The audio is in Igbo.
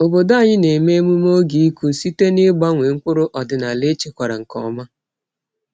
Obodo anyị na-eme emume oge ịkụ site n’ịgbanwe mkpụrụ ọdịnala echekwara nke ọma.